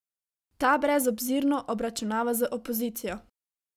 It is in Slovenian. Ta brezobzirno obračunava z opozicijo.